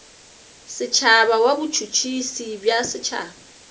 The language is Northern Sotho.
setšhaba wa botšhotšhisi bja setšhaba